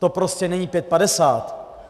To prostě není pět padesát.